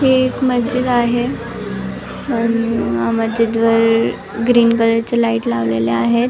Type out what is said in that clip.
हे एक मस्जिद आहे अ ण यामध्ये मस्जिदवर ग्रीन कलरच्या लाईट लावलेले आहेत.